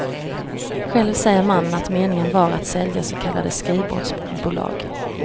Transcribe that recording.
Själv säger mannen att meningen var att sälja så kallade skrivbordsbolag.